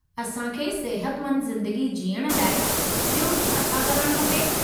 असां खे सिहतमंदु ज़िंदगी जीअण लाइ बि॒यो छा-छा करणु खपे?